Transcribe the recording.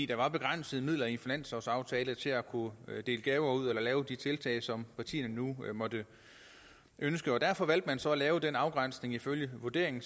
der var begrænsede midler i finanslovsaftalen til at kunne dele gaver ud eller lave de tiltag som partierne nu måtte ønske derfor valgte man så at lave den afgrænsning ifølge vurderingen